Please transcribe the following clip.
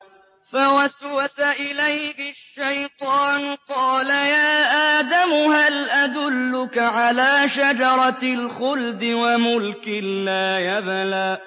فَوَسْوَسَ إِلَيْهِ الشَّيْطَانُ قَالَ يَا آدَمُ هَلْ أَدُلُّكَ عَلَىٰ شَجَرَةِ الْخُلْدِ وَمُلْكٍ لَّا يَبْلَىٰ